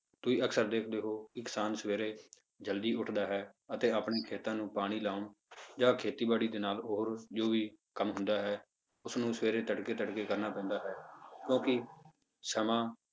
ਤੁਸੀਂ ਅਕਸਰ ਦੇਖਦੇ ਹੋ ਕਿ ਕਿਸਾਨ ਸਵੇਰੇ ਜ਼ਲਦੀ ਉੱਠਦਾ ਹੈ ਅਤੇ ਆਪਣੇ ਖੇਤਾਂ ਨੂੰ ਪਾਣੀ ਲਾਉਣ ਜਾਂ ਖੇਤੀਬਾੜੀ ਦੇ ਨਾਲ ਹੋਰ ਜ਼ਰੂਰੀ ਕੰਮ ਹੁੰਦਾ ਹੈ, ਉਸਨੂੰ ਸਵੇਰੇ ਤੜਕੇ ਤੜਕੇ ਕਰਨਾ ਪੈਂਦਾ ਹੈ ਕਿਉਂਕਿ ਸਮਾਂ